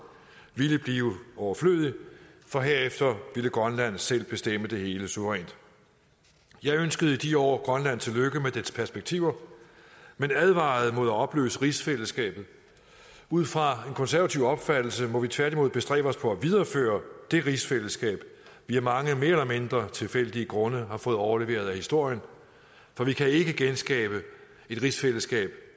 ville blive overflødig for herefter ville grønland selv bestemme det hele suverænt jeg ønskede i de år grønland tillykke med dets perspektiver men advarede mod at opløse rigsfællesskabet ud fra en konservativ opfattelse må vi tværtimod bestræbe os på at videreføre det rigsfællesskab vi af mange mere eller mindre tilfældige grunde har fået overleveret af historien for vi kan ikke genskabe et rigsfællesskab